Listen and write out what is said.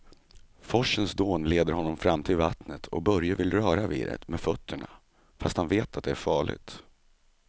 Forsens dån leder honom fram till vattnet och Börje vill röra vid det med fötterna, fast han vet att det är farligt.